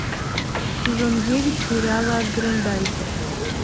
сезон девять сериала грендайзер